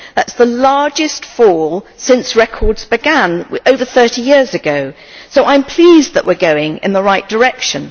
That is the largest fall since records began over 30 years ago, so I am pleased that we are going in the right direction.